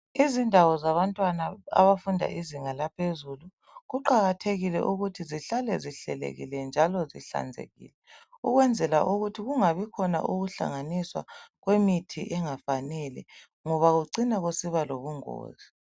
Izindawo zabantwana abafunda izilangaphezulu kuqakathekile ukuthi zihlale zihlelekile njalo zihlanzekile ukwenzela ukuthi kungabi khona ukuhlanganiswa kwemithi engafanele ngoba kucina kusiba lobungozi